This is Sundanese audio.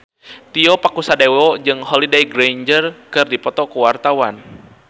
Tio Pakusadewo jeung Holliday Grainger keur dipoto ku wartawan